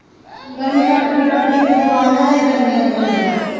ਗਰਮੀ ਕੱਟਦੀ ਕੱਟਦੀ ਕੀਤੇ ਪਵਾ ਹੀ ਨਾ ਲਈ ਗਰਮੀ ਅੰਦਰੋਂ ਆਂਡੇ ਖਾ ਕੇ